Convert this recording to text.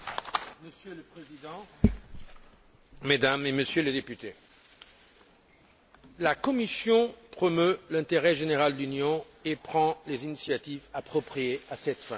Monsieur le Président, Mesdames et Messieurs les députés, la Commission promeut l'intérêt général de l'Union et prend les initiatives appropriées à cette fin.